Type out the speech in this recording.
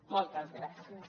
moltes gràcies